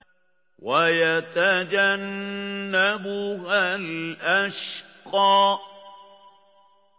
وَيَتَجَنَّبُهَا الْأَشْقَى